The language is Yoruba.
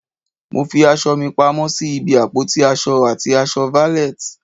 Mo fi aṣọ mi pamọ́ sí ibi àpótí aṣọ àti aṣọ valet.